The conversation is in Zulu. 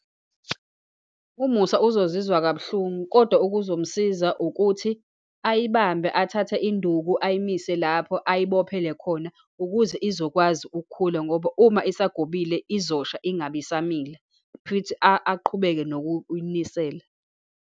UMusa uzozizwa kabuhlungu, kodwa okuzomsiza ukuthi ayibambe, athathe induku, ayimise lapho ayibophe khona, ukuze izokwazi ukukhula, ngoba uma isagobile, izosha, ingabe isamila. Kushuthi aqhubeke nokuyinisela.